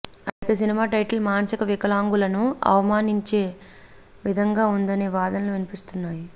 అయితే cinema title మానసిక వికలాంగులను అవమానపరిచే విధంగా ఉందనే వాదనలు వినిపిస్తున్నాయి